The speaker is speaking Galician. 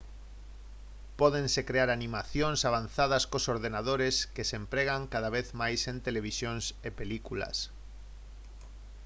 pódense crear animacións avanzadas cos ordenadores que se empregan cada vez máis en televisión e películas